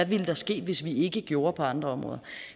ville ske hvis vi ikke gjorde det på andre områder